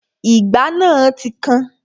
Ìgbá náà ti kan